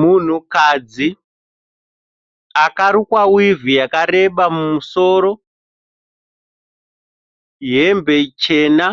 Munhukadzi akarukwa wivhi yakareba mumusoro, hembe chena